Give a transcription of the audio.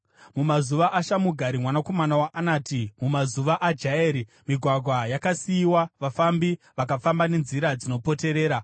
“Mumazuva aShamugari mwanakomana waAnati, mumazuva aJaeri, migwagwa yakasiyiwa; vafambi vakafamba nenzira dzinopoterera.